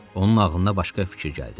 Onun ağlına başqa fikir gəldi.